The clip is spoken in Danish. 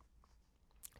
DR2